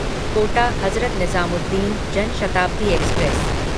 Kota Hazrat Nizamuddin Jan Shatabdi express